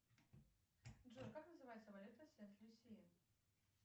джой как называется валюта сент люсия